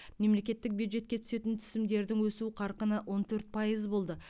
мемлекеттік бюджетке түсетін түсімдердің өсу қарқыны он төрт пайыз болды